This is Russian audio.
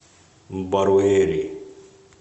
баруэри